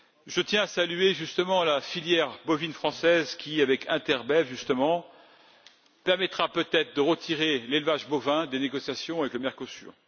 Je tiens à saluer la filière bovine française qui, avec Interbev justement, permettra peut être de retirer l'élevage bovin des négociations avec le Mercosur.